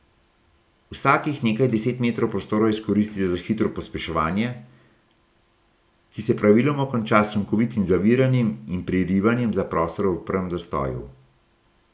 Vsakih nekaj deset metrov prostora izkoristijo za hitro pospeševanje, ki se praviloma konča s sunkovitim zaviranjem in prerivanjem za prostor v prvem zastoju.